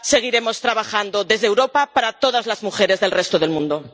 Seguiremos trabajando desde Europa para todas las mujeres del resto del mundo.